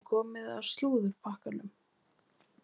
Það er komið að slúðurpakkanum.